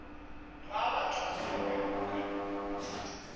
ga batho ba ka moka